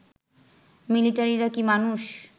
মিলিটারিরা কি মানুষ